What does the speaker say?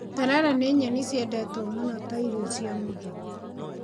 Terere nĩ nyeni ciendetwo mũno ta irio cia mũthenya.